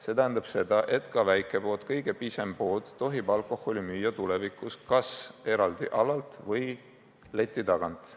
See tähendab seda, et ka väikepood, kõige pisem pood tohib alkoholi müüa tulevikus kas eraldi alalt või leti tagant.